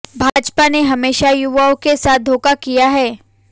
भाजपा ने हमेशा युवाओं के साथ धोखा किया है